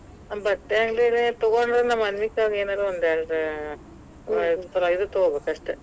ಬಟ್ಟೆ ಅಂಗಡಿಯಲ್ಲಿ ತಗೊಂಡ್ರ, ನಮ್ಮ ಅನ್ವಿತಾಗ ಏನರ ಒಂದೆರಡ ಆ ತರ ಇದ್ ತಗೊಬೇಕಷ್ಟ.